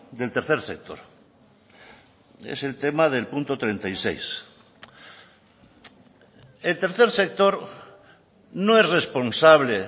del tercer sector es el tema del punto treinta y seis el tercer sector no es responsable